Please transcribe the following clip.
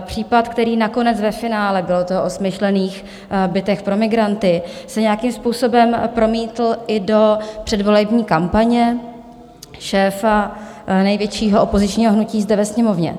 případ, který nakonec ve finále, bylo to o smyšlených bytech pro migranty, se nějakým způsobem promítl i do předvolební kampaně šéfa největšího opozičního hnutí zde ve Sněmovně.